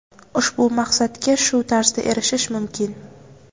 ushbu maqsadga shu tarzda erishish mumkin.